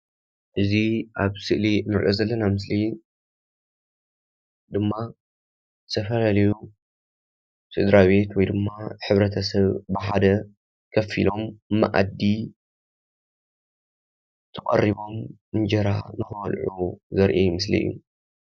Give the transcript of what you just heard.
እዚ ኣብ ስእሊ ንሪኦ ዘለና ምስሊ ድማ ዝተፈላለዩ ስድራቤት ወይ ድማ ሕብረተሰብ ብሓደ ኮፍ ኢሎም መኣዲ ተቐሪቦም እንጀራ ንክበልዑ ዘርኢ ምስሊ እዩ ።